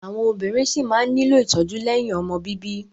Àwọn obìnrin ṣí máa nílò ìtọ́jú lẹ́yìn ọmọ bíbí.